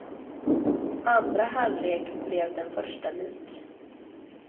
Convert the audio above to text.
Andra halvlek blev den första lik.